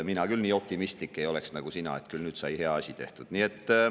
Mina küll nii optimistlik ei oleks nagu sina, et küll nüüd sai hea asi tehtud.